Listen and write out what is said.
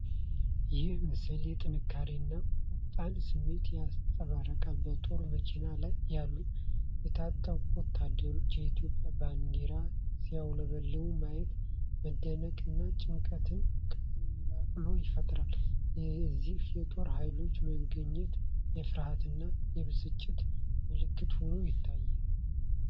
ይህ ምስል የጥንካሬን እና ቁጣን ስሜት ያንጸባርቃል። በጦር መኪና ላይ ያሉት የታጠቁ ወታደሮች የኢትዮጵያ ባንዲራ ሲውለበለብ ማየቱ መደነቅ እና ጭንቀትን ቀላቅሎ ይፈጥራል። የእነዚህ የጦር ኃይሎች መገኘት የፍርሃትና የብስጭት ምልክት ሆኖ ይታያል።